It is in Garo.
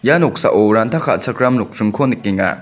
ia noksao ranta ka·chakram nokdringko nikenga.